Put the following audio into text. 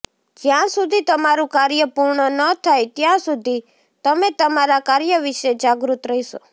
જ્યાં સુધી તમારું કાર્ય પૂર્ણ ન થાય ત્યાં સુધી તમે તમારા કાર્ય વિશે જાગૃત રહેશો